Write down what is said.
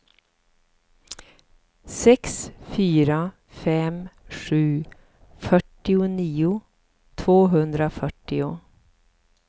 sex fyra fem sju fyrtionio tvåhundrafyrtio